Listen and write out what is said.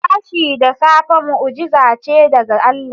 Tashi da safe mu'ujiza ce daga Allah.